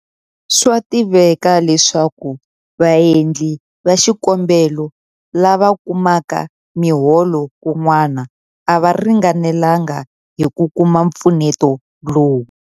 Swa tiveka leswaku vaendli va xikombelo lava kumaka miholo kun'wana a va ringanelanga hi ku kuma mpfuneto lowu.